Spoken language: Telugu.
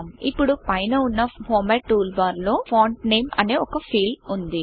ఇప్పుడు పైన వున్నఫార్మటు టూల్ బాగర్లో ఫాంట్ Nameఫాంట్ నేమ్ అనే ఒక ఫీల్డ్ వుంది